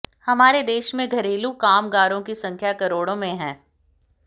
हमारे देश में घरेलू कामगारों की संख्या करोड़ों में है